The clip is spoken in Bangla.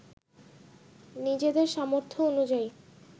নিজেদের সামর্থ্য অনুযায়ী